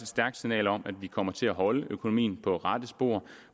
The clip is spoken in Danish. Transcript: stærkt signal om at vi kommer til at holde økonomien på rette spor